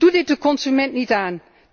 Doe dit de consument niet aan.